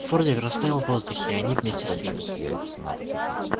фордик растаял в воздухе и они вместе с ним